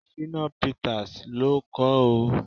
Shina Peters ló kọ ọ́.